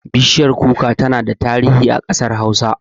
Bishiyar kuka tana da tarihi a ƙasar hausa